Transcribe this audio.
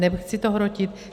Nechci to hrotit.